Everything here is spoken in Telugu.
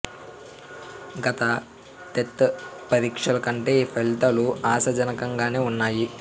గత టెట్ పరీక్షల కంటే ఈ ఫలితాలు ఆశాజనకంగానే వున్నా యి